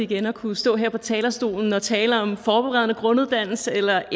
igen at kunne stå her på talerstolen og tale om forberedende grunduddannelse eller